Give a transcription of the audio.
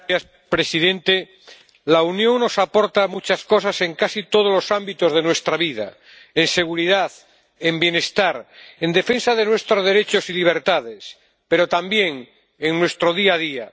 Señor presidente, la Unión nos aporta muchas cosas en casi todos los ámbitos de nuestra vida en seguridad, en bienestar, en defensa de nuestros derechos y libertades, pero también en nuestro día a día.